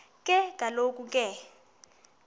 ke kaloku ke